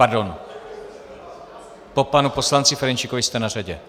Pardon, po panu poslanci Ferjenčíkovi jste na řadě.